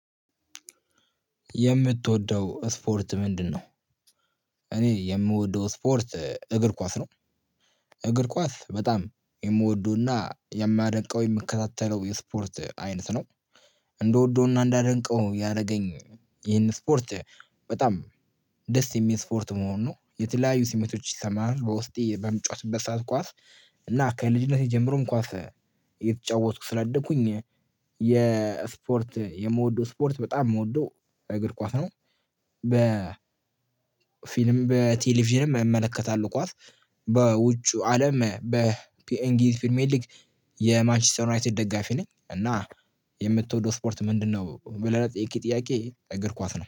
የምትወደው ስፖርት ምንድነው? እኔ የምወደው ስፖርት እግር ኳስ ነው። እግር ኳስ በጣም የምወደው እና የማደንቀው የምከታተለው የስፖርት አይነት ነው። እንደወደው እና እንዳደንቀው ያደረገኝ ይሄን ስፖርት በጣም ደስ የሚል ስፖርት መሆኑ ነው። የተለያዩ ስሜቶች ይሰመሃል በውስጤ በምጫወትበት ሰዓት ኳስ እና ከልጅነቴ ጀምሮ ኳስ እየተጫወትኩ ስላደግኩኝ የስፖርት የምወደው ስፖርት በጣም የምወደው እግር ኳስ ነው። በፊልም በቴሌቪዥንም እመለከታለሁ ኳስ በውጩ አለም በእንግሊዝ ፕሪሜዬር ሊግ የማንችስተር ዩናይትድ ደጋፊ ነኝ። እና የምትወደው ስፖርት ምንድነው ብለህ ጥያቄ እግር ኳስ ነው